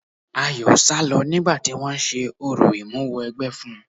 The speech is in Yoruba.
Ayọ̀ sálọ nígbà tí wọ́n ń ṣe orò Ìmúwẹgbẹ́ fún un.